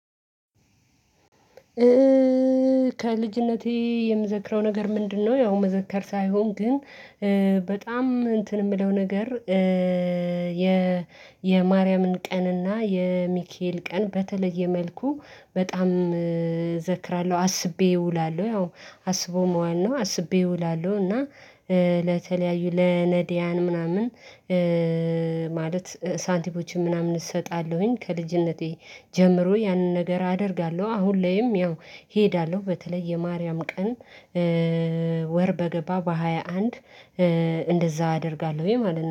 ከልጅነቴ የምዘክረው ነገር ምንድነው? ያው መዘከር ሳይሆን ግን በጣም እንትን የምለው ነገር የ የማርያምን ቀንና የሚካኤኢሸሸል ቀን በተለየ መልኩ በጣም ዘክራለሁ አስቤ እውላለሁ። ያው አስቦ መዋል ነው አስቤ ይውላሉ እና ለተለያዩ ለነድያን ምናምን ማለት ሳንቲሞችን ምናምን እሰጣለሁኝ ከልጅነቴ ጀምሮ ያንን ነገር አደርጋለሁ። አሁን ላይም ያው እሄዳለሁ በተለይ የማርያም ቀንም ወር በገባ በሃያ አንድ እንደዛ አደርጋለሁኝ ማለት ነው